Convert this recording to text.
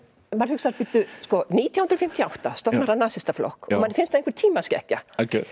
maður hugsar nítján hundruð fimmtíu og átta stofnar hann nasistaflokk og manni finnst það einhver tímaskekkja